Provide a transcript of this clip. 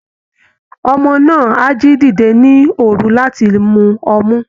Ọmọ náà á jí dìde ní òru láti mú ọmú